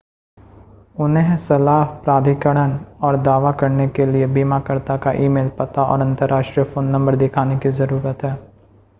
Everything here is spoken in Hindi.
उन्हें सलाह/प्राधिकरण और दावा करने के लिए बीमाकर्ता का ई-मेल पता और अंतर्राष्ट्रीय फ़ोन नंबर दिखाने की ज़रूरत है